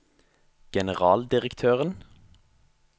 generaldirektøren